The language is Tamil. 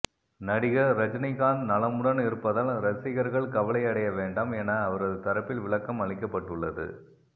நடிகர் ரஜினிகாந்த் நலமுடன் இருப்பதால் ரசிகர்கள் கவலை அடைய வேண்டாம் என அவரது தரப்பில் விளக்கம் அளிக்கப்பட்டுள்ளது